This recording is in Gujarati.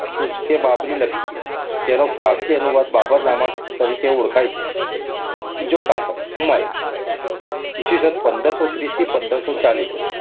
તુઝકે બાબરી લખી, જેનો ફારસી અનુવાદ બાબરનામા તરીકે ઓળખાય છે. બીજો સાર્થક હુમાયુ ઈ. સ. પંદરસો ત્રીસ થી પંદરસો ચાલીસ